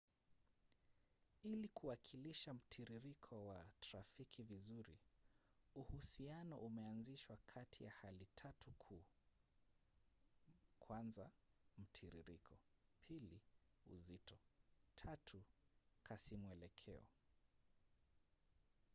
ili kuwakilisha mtiririko wa trafiki vizuri uhusiano umeanzishwa kati ya hali tatu kuu: 1 mtiririko 2 uzito 3 kasimwelekeo